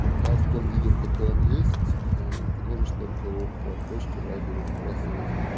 пока в том виде в котором есть ну ты можешь только его по почте вайберу сбрасывать